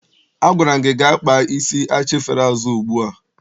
Agwara m gị gaa kpaa isi achịfere azụ ugbu a!